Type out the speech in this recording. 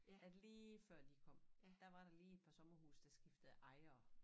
At lige før de kom der var der lige et par somerhuse der skiftede ejere